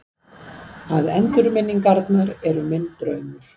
Að endurminningarnar eru minn draumur.